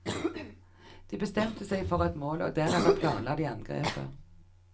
De bestemte seg for et mål, og deretter planla de angrepet.